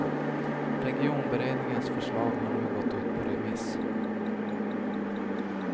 Regionberedningens förslag har nu gått ut på remiss.